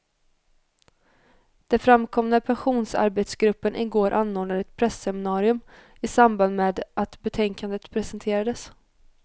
Det framkom när pensionsarbetsgruppen i går anordnade ett presseminarium, i samband med att betänkandet presenterades.